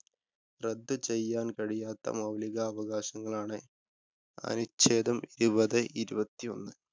റദ്ദ് ചെയ്യാന്‍ കഴിയാത്ത മൌലികാവകാശങ്ങളെ അനുച്ഛേദം ഇരുപത് ഇരുപത്തിയൊന്ന്